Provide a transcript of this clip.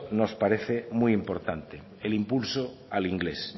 nos parece muy importante el impulso al inglés